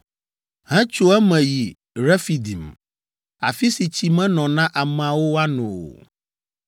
hetso eme yi Refidim, afi si tsi menɔ na ameawo woano o.